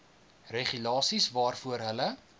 regulasies waarvoor hulle